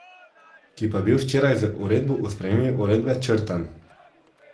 Ki pa je bil včeraj, z uredbo o spremembi uredbe, črtan.